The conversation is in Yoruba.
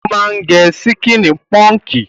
O máa gẹ síkíní pọǹkì.